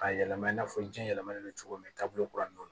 K'a yɛlɛma i n'a fɔ jiɲɛ yɛlɛmalen don cogo min taabolo kura ninnu